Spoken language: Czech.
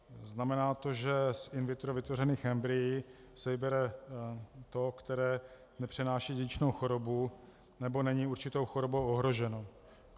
Znamená to, že z in vitro vytvořených embryí se vybere to, které nepřenáší dědičnou chorobu nebo není určitou chorobou ohroženo.